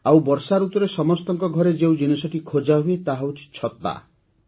ଆଉ ବର୍ଷାଋତୁରେ ସମସ୍ତଙ୍କ ଘରେ ଯେଉଁ ଜିନିଷଟି ଖୋଜାହୁଏ ତାହା ହେଉଛି ଛତା